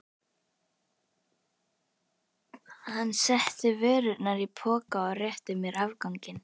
Hann setti vörurnar í poka og rétti mér afganginn.